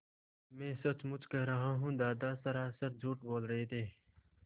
मैं सचमुच कह रहा हूँ दादा सरासर झूठ बोल रहे थे